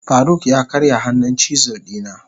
faruk ya karya hannun chisel dina.